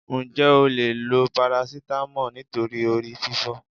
Ǹjẹ́ o leè lo paracetamol nítorí orí fífọ́